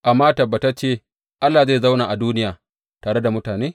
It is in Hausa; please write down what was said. Amma tabbatacce Allah zai zauna a duniya tare da mutane?